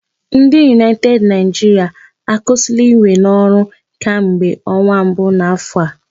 Ndị United Nigeria akwụsịla iwe n'ọrụ kamgbe ọnwa mbu n'afọ a.